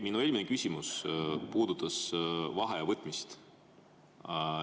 Minu eelmine küsimus puudutas vaheaja võtmist.